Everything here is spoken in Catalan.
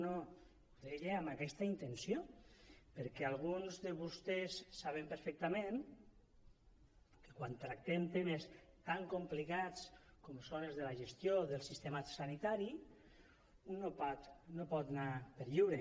no no ho deia amb aquesta intenció perquè alguns de vostès saben perfectament que quan tractem temes tan complicats com són els de la gestió del sistema sanitari un no pot anar per lliure